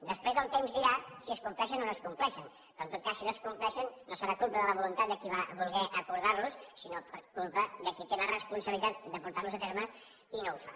després el temps dirà si es compleixen o no es compleixen però en tot cas si no es compleixen no serà culpa de la voluntat del qui va voler acordar los sinó culpa de qui té la responsabilitat de portar los a terme i no ho fa